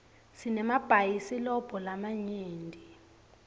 sinemabhayisilobho lamanyenti